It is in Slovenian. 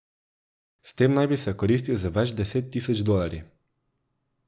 S tem naj bi se okoristil z več deset tisoč dolarji.